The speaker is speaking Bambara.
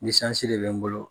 de bɛ n bolo